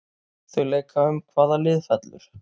Þau leika um hvaða lið fellur.